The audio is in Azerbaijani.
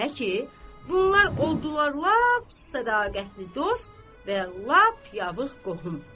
Belə ki, bunlar oldular lap sədaqətli dost və lap yavıq qohum.